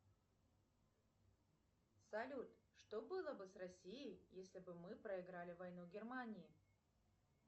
салют что было бы с россией если бы мы проиграли войну германии